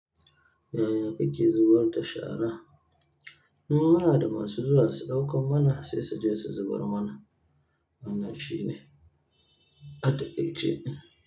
Yaya kake zubarda shara? Muna da masu zuwa su ɗaukan mana sai suje su zubar mana. Wannan shine, a taqai ce.